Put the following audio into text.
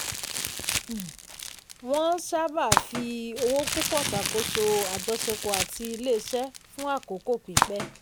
um wọ́n sábà ń fi owó púpọ̀ ṣàkóso àjọṣepọ̀ àti ilé-iṣẹ́ fún àkókò pípẹ́.